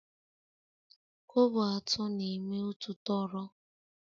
Kobo atọ na-eme otu tọrọ